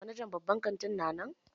Manajan babban kanti na nan?